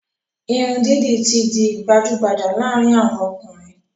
Irun didi ti di gbajugbaja laarin awon okunrin